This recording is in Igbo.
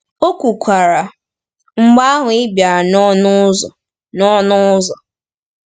O kwukwara, “Mgbe ahụ, i bịara n’ọnụ ụzọ.” n’ọnụ ụzọ.”